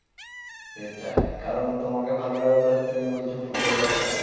সেটাই কারণ তোমাকে ভালো লাগে বলে তুমি বলছো football টাই better